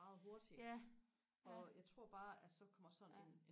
meget hurtigt og jeg tror bare at så kommer sådan en